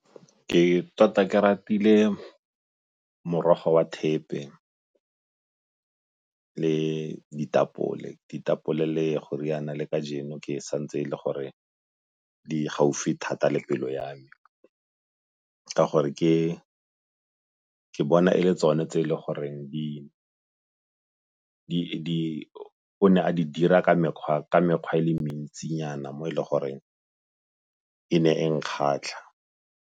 Ke tota ke ratile morogo wa thepe le ditapole, ditapole le goriana le kajeno ke santse e le gore di gaufi thata le pelo ya me, ka gore ke bona e le tsone tse e le goreng o ne a di dira ka mekgwa e le mentsinyana mo e le goreng e ne e nkgatlha.